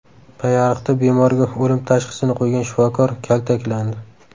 Payariqda bemorga o‘lim tashxisini qo‘ygan shifokor kaltaklandi .